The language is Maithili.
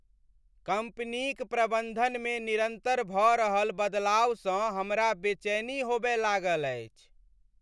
कम्पनीक प्रबन्धनमे निरन्तर भऽ रहल बदलावसँ हमरा बेचैनी होबय लागल अछि।